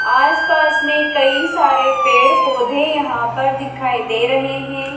आस-पास में कई सारे पेड़-पौधे यहाँ पर दिखाई दे रहे हैं।